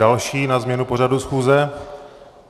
Další na změnu pořadu schůze?